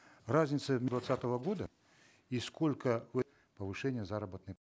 разница двадцатого года и сколько вы повышение заработной